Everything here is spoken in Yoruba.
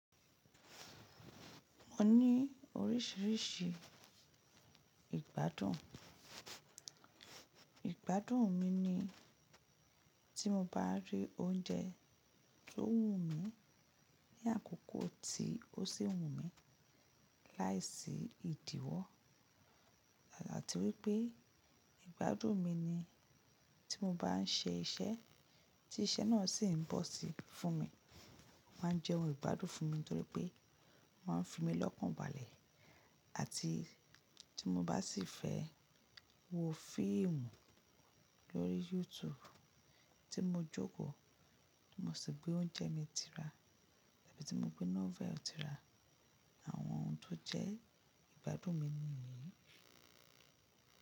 Mo ní oríṣiríṣi ìgbádùn. Ìgbádùn mi ni tí mo bá rí oúnjẹ tó wù mí ní àkókò tí ó sì wù mí láìsí ìdíwọ́. Ati wípé ìgbádùn mi ni tí mo bá ń ṣe iṣẹ́ tí iṣẹ́ náà sì ń bọ̀ sí fún mi. Ó máa ń jẹ́ ohun ìgbádùn fún mi nítorí pé máa ń fi mí lọ́kùnbalẹ̀ àti tí mo bá sì fẹ́ wo fíìmù lórí YouTube tí mo jókòó, tí mo sì gbé oúnjẹ mi tira àbí tí mo gbé novel tira. Àwọn ohun tó jẹ́ ìgbádùn mi nìyí.